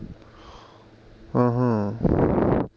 ਅਹੱ